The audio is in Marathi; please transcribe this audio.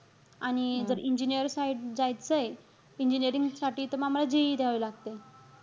आणि जर engineer side जायचंय, engineering साठी, तर मग आम्हाला JEE द्यावी लागते.